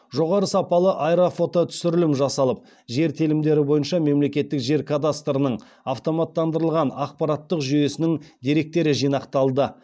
жоғары сапалы аэрофототүсірілім жасалып жер телімдері бойынша мемлекеттік жер кадастрының автоматтандырылған ақпараттық жүйесінің деректері жинақталды